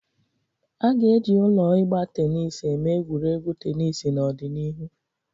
A ga-eji ụlọ ịgba tenis eme egwuregwu tenis n'ọdịnihu.